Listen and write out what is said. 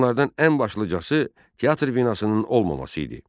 Bunlardan ən başlıcası teatr binasının olmaması idi.